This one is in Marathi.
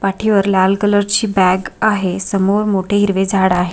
पाठीवर लाल कलर ची बॅग आहे समोर मोठे हिरवे झाड आहे.